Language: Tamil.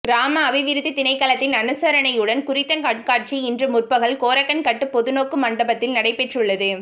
கிராம அபிவிருத்தி திணைக்களத்தின் அனுசரணையுடன் குறித்த கண்காட்சி இன்று முற்பகல் கோரக்கன் கட்டு பொதுநோக்கு மண்டபத்தில் நடைபெற்றுள்ளது